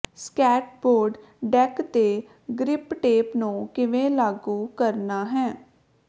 skateboard deck ਤੇ grip tape ਨੂੰ ਕਿਵੇਂ ਲਾਗੂ ਕਰਨਾ ਹੈ